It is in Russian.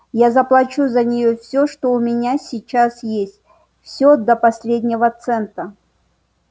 я заплачу за неё всё что у меня сейчас есть всё до последнего цента